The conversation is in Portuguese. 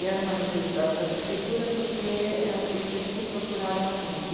E era uma necessidade da prefeitura porque eles sempre procuraram a gente.